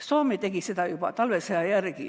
Soome tegi seda juba talvesõja järel.